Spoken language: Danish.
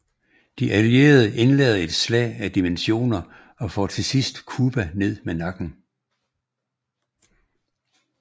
De allierede indleder et slag af dimensioner og får til sidst Cuba ned med nakken